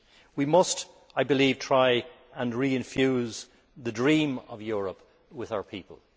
We must, I believe, try and reinfuse the dream of Europe with our people.